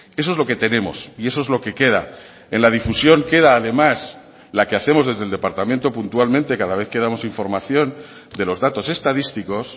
eso es lo que tenemos y eso es lo que queda en la difusión queda además la que hacemos desde el departamento puntualmente cada vez que damos información de los datos estadísticos